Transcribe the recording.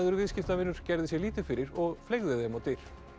viðskiptavinur gerði sér lítið fyrir og fleygði þeim á dyr